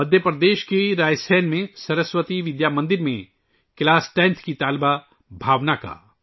مدھیہ پردیش کے رائے سین میں سرسوتی ودیا مندر میں 10ویں جماعت کی طالبہ بھاونا کا